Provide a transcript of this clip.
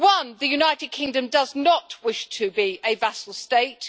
The United Kingdom does not wish to be a vassal state.